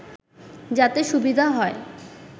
যাতে সুবিধা হয়